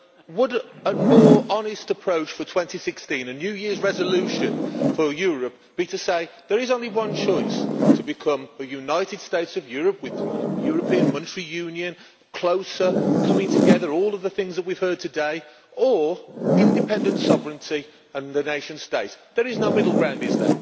Would a more honest approach for 2016 a New Year's resolution for Europe be to say there is only one choice to become a United States of Europe with European Monetary Union, closer, coming together, all of the things we have heard today, or independence, sovereignty and the nation state? There is no middle ground, is